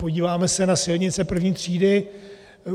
Podíváme se na silnice I. třídy.